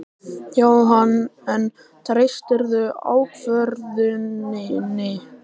Jóhann: En treystirðu ákvörðuninni?